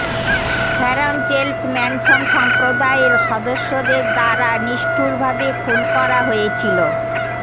Sharon Charles Manson সম্প্রদায়ের সদস্যদের দ্বারা নিষ্ঠুরভাবে খুন করা হয়েছিল